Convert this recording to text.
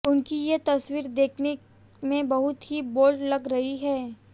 उनकी ये तस्वीर दिखने में बहुत ही बोल्ड लग रही है